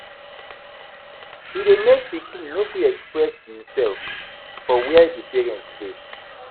E de make pikin no fit experess imself for where di parents de